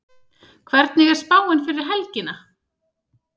hvernig er spáin fyrir helgina